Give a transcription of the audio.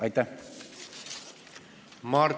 Aitäh!